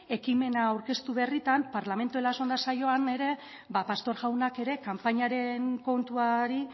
ekimena aurkeztu berritan parlamento en las ondas saioan ere pastor jaunak ere kanpainaren kontuari